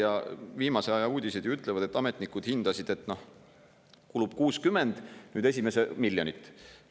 Ja viimase aja uudised ju ütlevad, et ametnikud hindasid, et kulub 60 miljonit eurot.